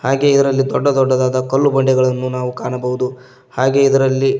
ಹಾಗೆ ಇದರಲ್ಲಿ ದೊಡ್ಡ ದೊಡ್ಡದಾದ ಕಲ್ಲು ಬಂಡೆಗಳನ್ನು ನಾವು ಕಾಣಬಹುದು ಹಾಗೆ ಇದರಲ್ಲಿ --